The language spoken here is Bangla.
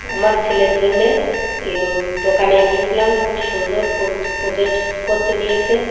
আমার ছেলের জন্যে ইএ দোকানে গিয়েছিলাম খুব সুন্দর পোজ প্রোজেক্ট করতে দিয়েছে।